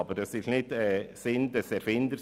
Aber das war nicht im Sinn der Erfinder.